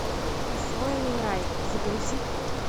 присвоенный рай загрузи